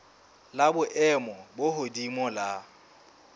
la boemo bo hodimo la